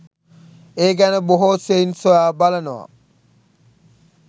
ඒ ගැන බොහෝ සෙයින් සොයා බලනවා.